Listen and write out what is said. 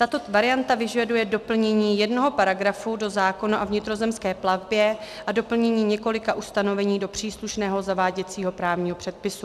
Tato varianta vyžaduje doplnění jednoho paragrafu do zákona o vnitrozemské plavbě a doplnění několika ustanovení do příslušného zaváděcího právního předpisu.